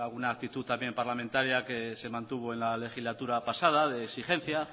alguna aptitud también parlamentaria que se mantuvo en la legislatura pasada de exigencia